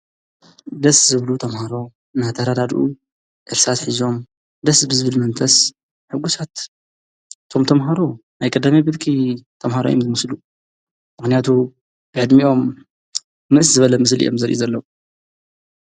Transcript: ደስ ዝብሉ ተምሃሮ ናተራዳድኡ እርሳስ ኂዞም ደስ ብዝብል መንተስ ሕጉሳት እቶም ተምሃሮ ናይ ቀደማይ ብርኪ ተምሃሮ እይም ዝምስሉ ምክንያቱ ብዕድሚኦም ንእስ ዝበለ ምስል እዮም ዝመስሉ ዘለዉ፡፡